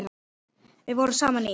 Við vorum saman í